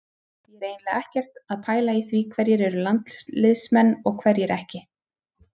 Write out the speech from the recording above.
Ég er eiginlega ekkert að pæla í því hverjir eru landsliðsmenn og hverjir ekki.